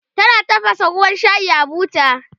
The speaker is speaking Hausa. tana tafasa ruwan shayi a buta